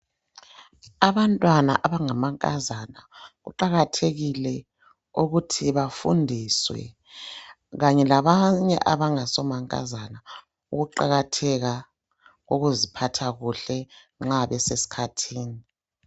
Abantwana abangama nkazana kuqakathekile ukuthi bafundiswe kanye labanye abangaso mankazana ukuqakatheka ukuziphatha kuhle nxa besesikhathini.